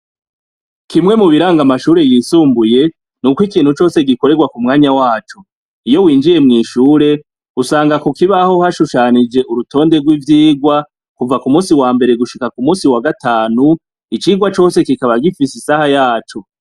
Kimwe mu biranga amashure yisumbuye n'uko ikintu cose gikorerwa ku mwanya waco. Iyo winjiye mw'ishure usanga ku kibaho hashushanije urutonde rw'ivyigwa kuva ku munsi wa mbere gushika ku munsi wa gatanu, icigwa cose kikaba gifise isaha yaco.